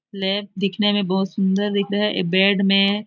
lab दिखने में बहुत सुन्दर दिख रहा है ए बेड में --